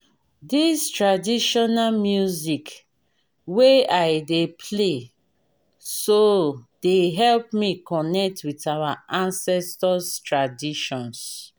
this traditional music wey i dey play so dey help me connect with our ancestors traditions